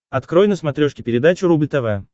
открой на смотрешке передачу рубль тв